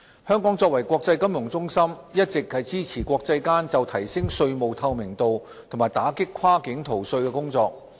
香港作為國際金融中心，一直支持國際間就提升稅務透明度和打擊跨境逃稅的工作。